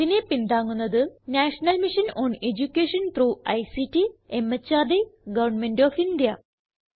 ഇതിനെ പിന്താങ്ങുന്നത് national mission on education through ICT MHRD government of India